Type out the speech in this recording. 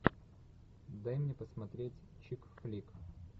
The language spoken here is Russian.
дай мне посмотреть чик флик